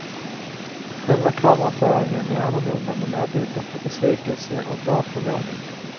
Själva kameraföringen är annorlunda med närbilder på besvikelse och glad förvåning.